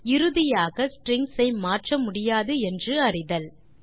மற்றும் இறுதியாக ஸ்ட்ரிங்ஸ் ஐ மாற்ற முடியாது என்று அறிதல்